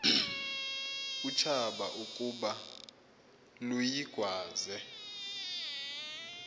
utshaba ukuba luyigwaze